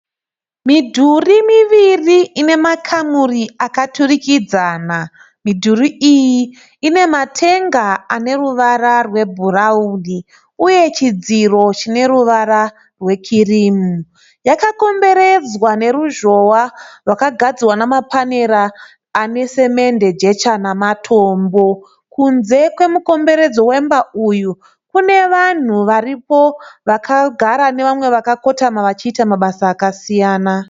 Midhuri miviri ine makamuri akaturikidzana. Midhuri iyi ine matenga ane ruvara rwebhurauni uye chidziro chine ruvara rwekirimu. Yakakomberedzwa neruzhowa rwakagadzirwa namapanera ane semende, jecha namatombo. Kunze kwemukomberedzo wemba uyu kune vanhu varipo vakagara nevamwe vakakotama vachiita mabasa akasiyana.